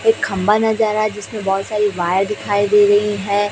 एक खंभा नजर आ रहा है जिसमें बहोत सारी वायर दिखाई दे रही है।